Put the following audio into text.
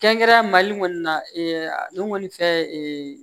Kɛrɛnkɛrɛnna mali kɔni na ale kɔni fɛ ee